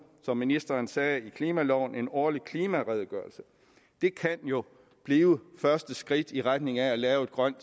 som ministeren sagde med klimaloven kommer en årlig klimaredegørelse det kan jo blive første skridt i retning af at lave et grønt